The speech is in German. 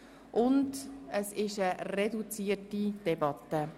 Wir führen eine reduzierte Debatte.